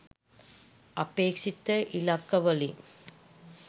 අපේක්‍ෂිත ඉලක්කවලින්